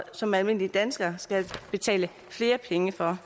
som almindelige danskere skal betale flere penge for